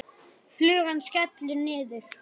Flugan skellur niður.